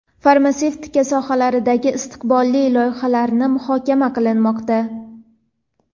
farmatsevtika sohalaridagi istiqbolli loyihalarni muhokama qilmoqda.